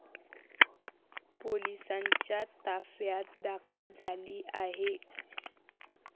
पोलिसांच्या ताफ्यात दाखल झाली आहे.